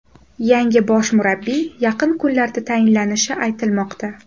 Yangi bosh murabbiy yaqin kunlarda tayinlanishi aytilmoqda.